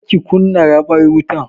Kar ki kunna raɓar mutar!